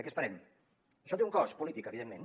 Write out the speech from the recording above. a què esperem això té un cost polític evidentment